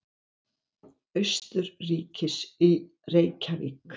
Austurríkis í Reykjavík.